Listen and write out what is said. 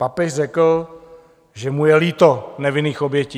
Papež řekl, že mu je líto nevinných obětí.